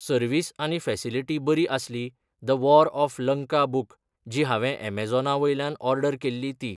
Service आनी facility बरी आसली the war of Lanka book जी हांवें एमेजेना वयल्यान ओर्डर केल्ली ती.